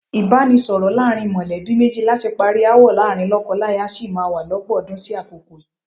Ìbánisọ̀rọ̀ láàrin mọ̀lẹ́bí méjì láti parí aáwọ̀ láàrin lọ́kọláya sì má wá lọ́pọ̀ ọdún sí àkókò yìí.